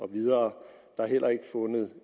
videre der er heller ikke fundet